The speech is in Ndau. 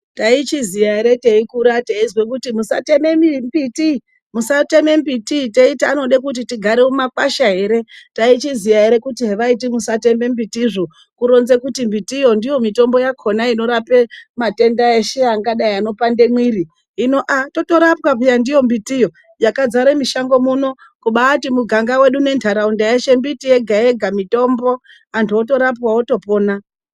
Taichiziya ere teikura teizwe kuti musateme mbiti, musteme mbiti, teiti anode kuti tigare mumakwasha ere, taichiziya ere kuti hevaiti musateme mbiti zvo kuronze kuti mbiti yo ndiyo mitombo yakona inorape matenda eshe akadai anopande mwiri hino ah, totorapwa peya ndiyo mbiti yo yakadzare mushango muno kubati muganga wedu nenharaunda yeshe miti yega yega mitombo anhu otorapwa otopona.